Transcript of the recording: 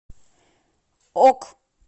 ок